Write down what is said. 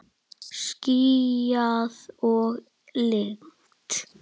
Skýjað og lygnt.